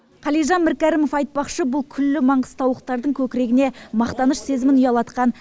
қалижан міркәрімов айтпақшы бұл күллі маңғыстаулықтардың көкірегіне мақтаныш сезімін ұялатқан